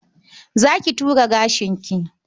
Za ki ture gashinki?